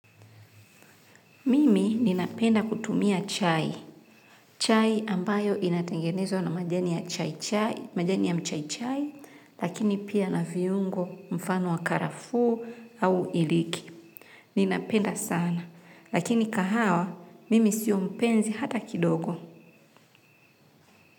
Mimi ninapenda kutumia chai, chai ambayo inatengenezwa na majani ya mchai chai, lakini pia na viungo mfano wa karafu au iliki. Ninapenda sana, lakini kahawa, mimi sio mpenzi hata kidogo.